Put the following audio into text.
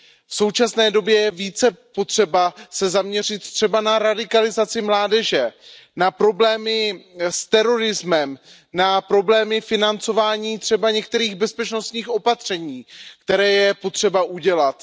V současné době je více potřeba se zaměřit na radikalizaci mládeže, na problémy s terorismem, na problémy financování některých bezpečnostních opatření, která je potřeba udělat.